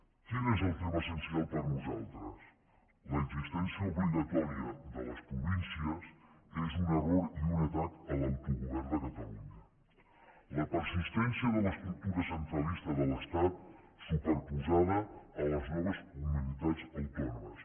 quin és el tema essencial per nosaltres l’existència obligatòria de les províncies és un error i un atac a l’autogovern de catalunya la persistència de l’estructura centralista de l’estat superposada a les noves comunitats autònomes